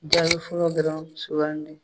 Jaabi fɔlɔ dɔrɔn sugandi